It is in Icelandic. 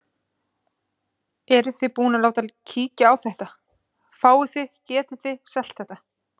Eruð þið búin að láta kíkja á þetta, fáið þið, getið þið selt þetta?